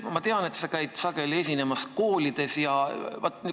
Ma tean, et sa käid sageli koolides esinemas.